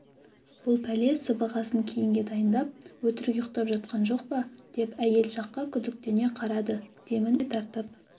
бұл пәле сыбағасын кейінге дайындап өтірік ұйықтап жатқан жоқ па деп әйел жаққа күдіктене қарады демін ішіне тартып